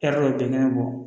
E yɛrɛ bin kɛnɛ bɔ